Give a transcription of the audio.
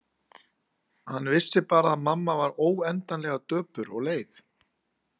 Hann vissi bara að mamma var óendanlega döpur og leið.